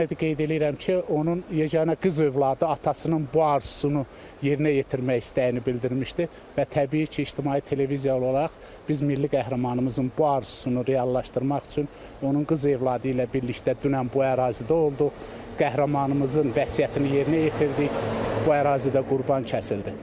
Yenə də qeyd eləyirəm ki, onun yeganə qız övladı atasının bu arzusunu yerinə yetirmək istəyini bildirmişdi və təbii ki, ictimai televiziyalı olaraq biz milli qəhrəmanımızın bu arzusunu reallaşdırmaq üçün onun qız övladı ilə birlikdə dünən bu ərazidə olduq, qəhrəmanımızın vəsiyyətini yerinə yetirdik, bu ərazidə qurban kəsildi.